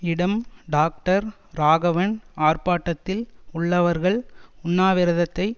இடம் டாக்டர் ராகவன் ஆர்ப்பாட்டத்தில் உள்ளவர்கள் உண்ணாவிரதத்தை